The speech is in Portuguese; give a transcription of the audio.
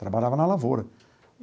Trabalhava na lavoura.